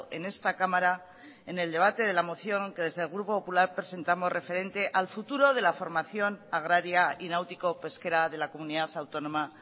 en esta cámara en el debate de la moción que desde el grupo popular presentamos referente al futuro de la formación agraria y náutico pesquera de la comunidad autónoma